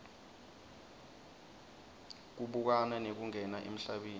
kubukana nekungena emhlabeni